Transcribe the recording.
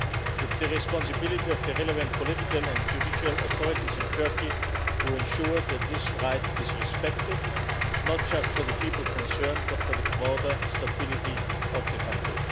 It is the responsibility of the relevant political and judicial authorities in Turkey to ensure that this right is respected, not just for the people concerned but for the broader stability of the country.